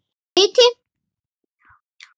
Áttu liti?